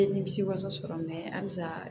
Ne nimisi wasa sɔrɔ halisa